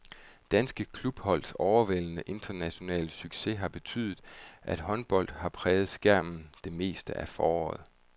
Danske klubholds overvældende internationale succes har betydet, at håndbold har præget skærmen det meste af foråret.